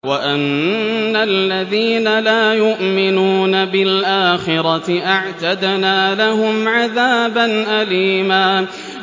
وَأَنَّ الَّذِينَ لَا يُؤْمِنُونَ بِالْآخِرَةِ أَعْتَدْنَا لَهُمْ عَذَابًا أَلِيمًا